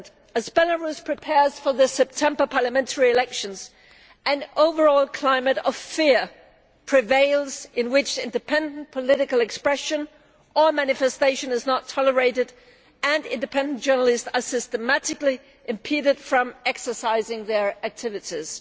As Belarus prepares for the September parliamentary elections, an overall climate of fear prevails in which independent political expression or manifestation is not tolerated and independent journalists are systematically impeded from exercising their activities.